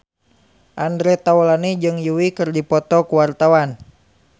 Andre Taulany jeung Yui keur dipoto ku wartawan